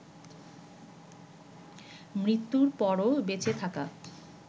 মৃত্যুর পরও বেঁচে থাকা